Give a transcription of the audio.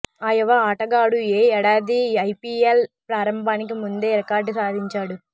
ఈ యువ ఆటగాడు ఈ ఏడాది ఐపీఎల్ ప్రారంభానికి ముందే రికార్డు సాధించాడు